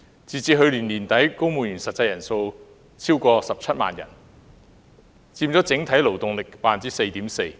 截止去年年底，本港公務員實際人數超過17萬人，佔整體勞動力 4.4%。